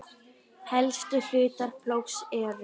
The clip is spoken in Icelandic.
Helstu hlutar plógs eru